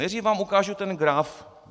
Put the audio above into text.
Nejdřív vám ukážu ten graf.